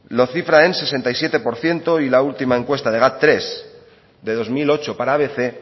lo cifra en sesenta y siete por ciento y la última encuesta de gad tres de dos mil ocho para abc